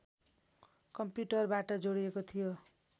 कम्प्युटरबाट जोडिएको थियो